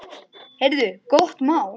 Heyrðu, gott mál!